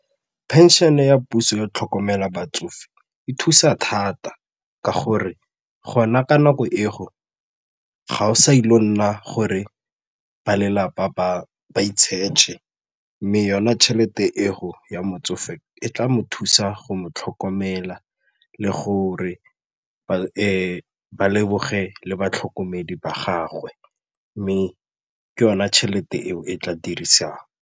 Pension-e ya puso ya go tlhokomela batsofe e thusa thata ka gore gona ka nako e go ga o sa ile go nna gore ba lelapa ba i-search-e mme yona tšhelete e go ya motsofe e tla mo thusa go mo tlhokomela le gore ba leboge le batlhokomedi ba gagwe mme ke yona tšhelete eo e tla dirisang.